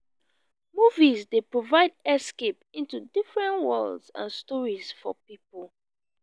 movies dey provide escape into different worlds and stories for people.